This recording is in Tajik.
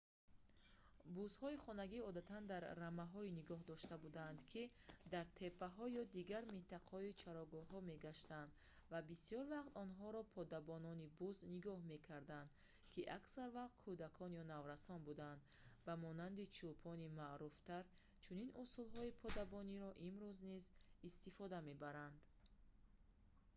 бузҳои хонагӣ одатан дар рамаҳое нигоҳ дошта буданд ки дар теппаҳо ё дигар минтақаҳои чарогоҳӣ мегаштанд ва бисёр вақт онҳоро подабонони буз нигоҳ мекарданд ки аксар вақт кӯдакон ё наврасон буданд ба монанди чӯпони маъруфтар чунин усулҳои подабониро имрӯз низ истифода мебаранд